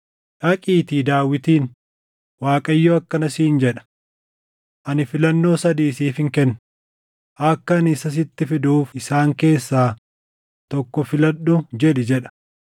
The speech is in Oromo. “Dhaqiitii Daawitiin, ‘ Waaqayyo akkana siin jedha: Ani filannoo sadii siifin kenna; akka ani isa sitti fiduuf isaan keessaa tokko filadhu’ jedhi” jedha.